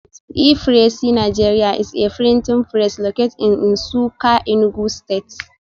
E-pressiNigeria is a printing press located in Nsukka Enugu stste